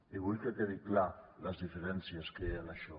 i vull que quedin clares les diferències que hi ha en això